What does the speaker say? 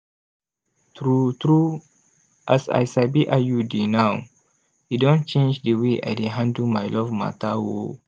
true true as i sabi iud now e don change d way i dey handle my love matter oh.